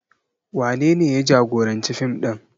Wanene ya jagoranci fim ɗin?